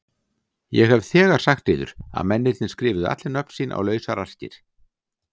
Ég hef þegar sagt yður að mennirnir skrifuðu allir nöfn sín á lausar arkir.